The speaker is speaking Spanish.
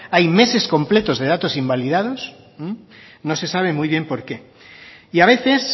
hay meses completos de datos invalidados no sé sabe muy bien por qué y a veces